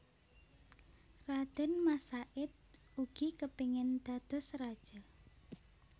Radén Mas Said ugi kepingin dados raja